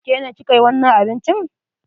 Ke ne ki ka yi wannan abincin?